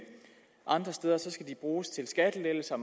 andre steder skal de bruges til skattelettelser